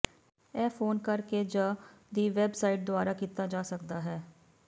ਇਹ ਫੋਨ ਕਰ ਕੇ ਜ ਦੀ ਵੈਬਸਾਈਟ ਦੁਆਰਾ ਕੀਤਾ ਜਾ ਸਕਦਾ ਹੈ